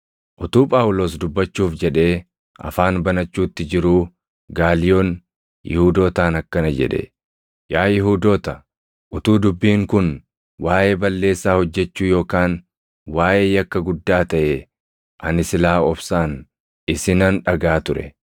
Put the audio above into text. Utuu Phaawulos dubbachuuf jedhee afaan banachuutti jiruu Gaaliyoon Yihuudootaan akkana jedhe; “Yaa Yihuudoota, utuu dubbiin kun waaʼee balleessaa hojjechuu yookaan waaʼee yakka guddaa taʼee ani silaa obsaan isinan dhagaʼa ture.